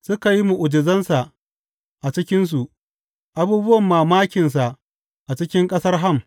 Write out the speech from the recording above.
Suka yi mu’ujizansa a cikinsu, abubuwan mamakinsa a cikin ƙasar Ham.